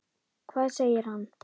Hvað segir hann?